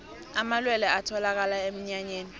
amalwelwe atholakala enyameni